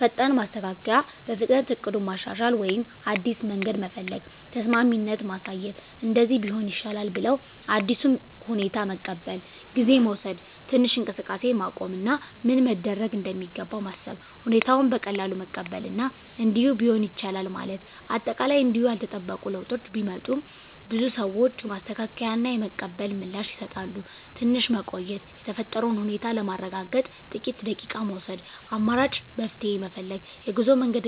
ፈጣን ማስተካከያ – በፍጥነት እቅዱን ማሻሻል ወይም አዲስ መንገድ መፈለግ። ተስማሚነት ማሳየት – “እንደዚህ ቢሆን ይሻላል” ብለው አዲሱን ሁኔታ መቀበል። ጊዜ መውሰድ – ትንሽ እንቅስቃሴን ማቆም እና ምን መደረግ እንደሚገባ ማሰብ። ሁኔታውን በቀላሉ መቀበል እና “እንዲህ ቢሆንም ይቻላል” ማለት። አጠቃላይ እንዲሁ ያልተጠበቁ ለውጦች ቢመጡም፣ ብዙ ሰዎች የማስተካከያ እና የመቀበል ምላሽ ይሰጣሉ። ትንሽ መቆየት – የተፈጠረውን ሁኔታ ለማረጋገጥ ጥቂት ደቂቃ መውሰድ። አማራጭ መፍትሄ ፈልግ – የጉዞ መንገድ